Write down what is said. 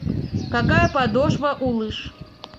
какая подошва у лыж